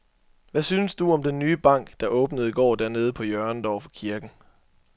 Hvad synes du om den nye bank, der åbnede i går dernede på hjørnet over for kirken?